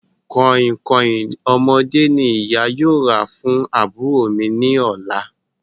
Kọ̀ìnkọ̀ìn ọmọdé ní ìyá yóò rà fún àbúrò mi ní ọ̀la